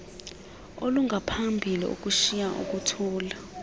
olungaphambili ukushiya ukuthula